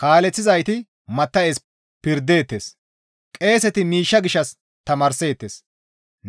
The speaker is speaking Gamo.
Kaaleththizayti matta7es pirdeettes; qeeseti miishsha gishshas tamaarseettes;